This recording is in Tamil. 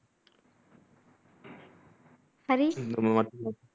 ஹரி